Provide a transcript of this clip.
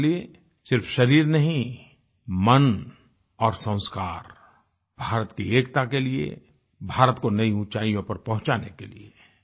और इसलिए सिर्फ शरीर नहीं मन और संस्कार भारत की एकता के लिए भारत को नई उचाईयों पर पहुँचाने के लिये